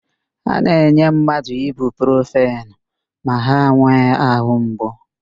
A na-enye mmadụ ibuprofenu ma ha nwee àhụ́ mgbu.